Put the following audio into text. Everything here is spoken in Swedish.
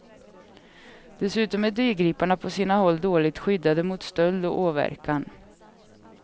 Dessutom är dyrgriparna på sina håll dåligt skyddade mot stöld och åverkan.